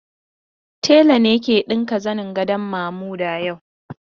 Tela ne ke ɗinka zanin gadon Mamuda yau.